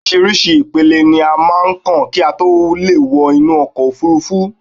Orísìírísìí ìpele ni a máà ń kàn kí a tó lè wọ inú okò òfurufú